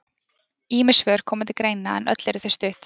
Ýmis svör koma til greina en öll eru þau stutt.